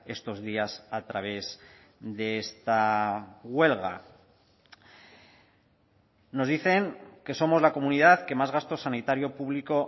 estos días a través de esta huelga nos dicen que somos la comunidad que más gasto sanitario público